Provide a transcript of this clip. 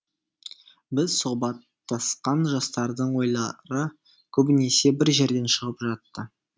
біз сұхбаттасқан жастардың ойлары көбінесе бір жерден шығып жатты